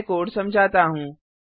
मैं कोड समझाता हूँ